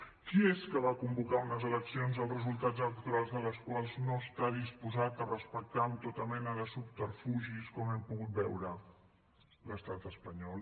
qui és que va convocar unes eleccions els resultats electorals de les quals no està disposat a respectar amb tota mena de subterfugis com hem pogut veure l’estat espanyol